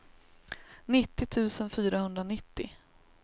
nittio tusen fyrahundranittio